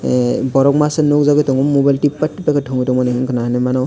eh borok masanukjagui tongo mobile tipak tipak khe thwngwi tongmani wngkha na hinui mano.